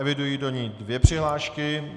Eviduji do ní dvě přihlášky.